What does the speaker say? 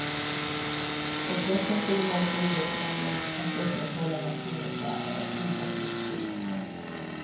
Och pressen på de norska idrottsmännen att upprätthålla nationens ära är omåttligt stor.